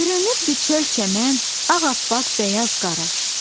Bürünübdü çöl çəmən, ağappaq bəyaz qara.